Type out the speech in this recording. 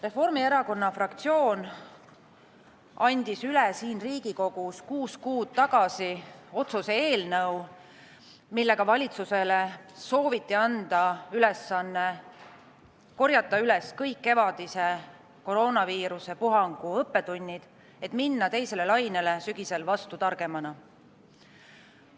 Reformierakonna fraktsioon andis siin Riigikogus kuus kuud tagasi üle otsuse eelnõu, millega sooviti valitsusele anda ülesanne korjata üles kõik kevadise koroonaviirusepuhangu õppetunnid, et minna teisele lainele sügisel vastu targemana.